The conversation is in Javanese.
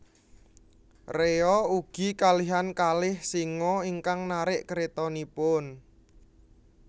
Rea ugi kalihan kalih singa ingkang narik kretanipun